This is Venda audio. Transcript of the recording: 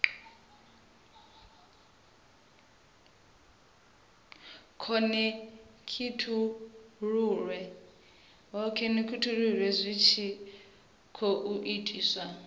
khonekhithululwe zwi tshi khou itiswa